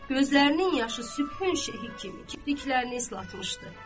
Gözlərinin yaşı səbhənin şehhi kimi kipriklərini islatmışdı.